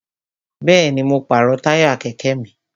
Bẹ́ẹ̀ni, mo pàrọ̀ táyà kẹ̀kẹ́ mi